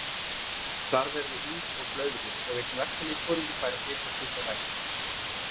Þar verði ís og blöðrur og einn verkalýðsforingi fær að flytja stutta ræðu.